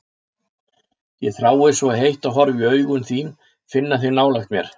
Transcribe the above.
Ég þrái svo heitt að horfa í augun þín, finna þig nálægt mér.